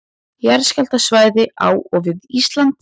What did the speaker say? Jarðskjálftasvæði á og við Ísland.